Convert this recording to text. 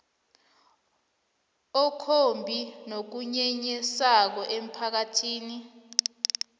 okumbi nokunyenyisako emphakathini